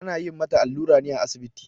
Ana yin mata allura ne a asibiti.